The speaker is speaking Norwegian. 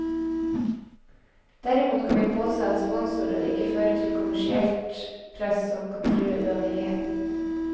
Derimot kan vi påse at sponsorer ikke fører til kommersielt press som kan true uavhengigheten.